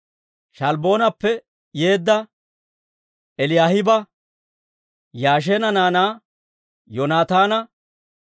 Sha'albboonappe yeedda Eliyaahiba, Yaasheena naanaa, Yoonataana,